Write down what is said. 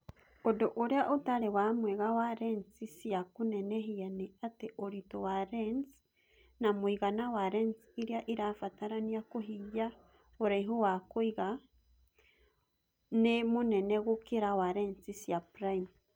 Ũndu ũria ũtarĩ wa mwega wa lensi cia kũnenehia nĩ atĩ ũritũ wa lens na mũigana wa lens iria irabatarania kũhingia ũraihu wa kũiga[ focal] nĩ mũnene gũkĩra wa lensi cia prime.